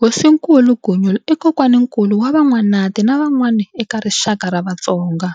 Hosinkulu Gunyule i kokwaninkulu wa Van'wanati na van'wani eka rixaka ra Vatsonga.